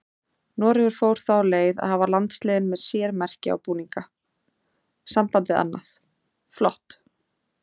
Noregur fór þá leið að hafa landsliðin með sér merki á búninga, sambandið annað, flott.